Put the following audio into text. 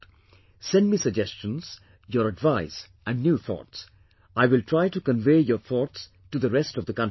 Send me suggestions, your advice and new thoughts, I will try to convey your thoughts to rest of the countrymen